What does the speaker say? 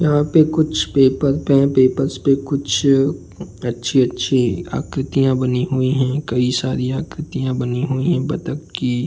यहाँ पर कुछ पेपर पे पेपर से कुछ अच्छी-अच्छी आकृतियाँ बनी हुई हैं। कई सारी आकृतियाँ बनी हुई हैं बत्तख की --